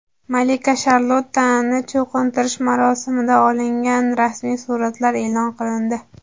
Malika Sharlottani cho‘qintirish marosimida olingan rasmiy suratlar e’lon qilindi .